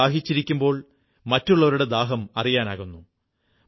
സ്വയം ദാഹിച്ചിരിക്കുമ്പോൾ മറ്റുള്ളവരുടെ ദാഹം അറിയാനാകുന്നു